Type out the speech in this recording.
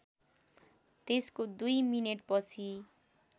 त्यसको दुई मिनेटपछि